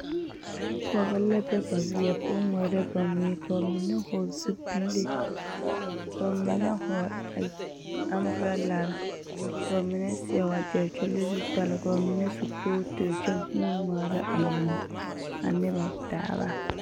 Pɔɡebɔ la be ba weɛ poɔ ŋmaara ba mui ka ba mine ka ba mine hɔɔli zupile ka ba mine hɔɔli amburɔlare ka ba mine seɛ waɡyɛre kyɛ leŋ zutali ka ba mine su kootiri kyɛ huune ŋmaara a mui ane ba taaba.